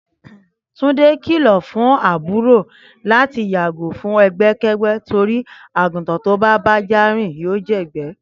Túndé kìlọ̀ fún àbúrò láti yàgò fún ẹgbẹ́kẹ́gbẹ́ torí àgùntàn tó bá bá ajá rìn yóò jẹ̀gbẹ́